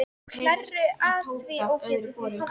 Og hlærðu að því ófétið þitt?